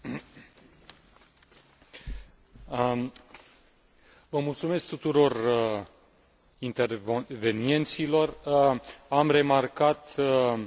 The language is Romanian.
Am remarcat un lucru extrem de important sprijinul politic care există la nivelul Parlamentului în ceea ce privește